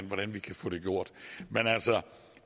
hvordan vi kan få det gjort men